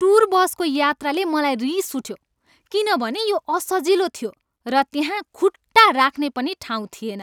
Tour बसको यात्राले मलाई रिस उठ्यो किनभने यो असजिलो थियो र त्यहाँ खुट्टा राख्ने पनि ठाउँ थिएन।